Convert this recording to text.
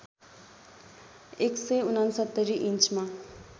१६९ इन्चमा